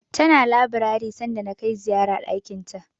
Tana labirari sanda na kai ziyara ɗakinta.